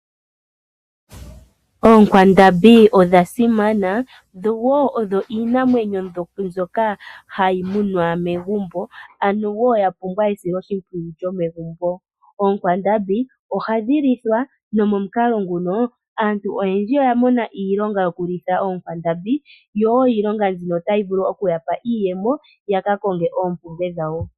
Oonkwandambi odha simana, odho iinamwenyo mbyoka hayi munwa megumbo, ano ya pumbwa esiloshimpwiyu lyomegumbo. Oonkwandambi ohadhi lithwa nomomukalo nguno aantu oyendji oya mona iilonga yokulitha oonkwandambi. Iilonga mbika ohayi ya pe iiyemo, opo ya ka konge oompumbwe dhawo.